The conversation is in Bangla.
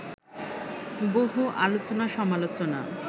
বহু আলোচনা-সমালোচনা